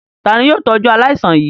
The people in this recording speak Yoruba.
Ta ni yóò tọ́jú aláìsàn yìí?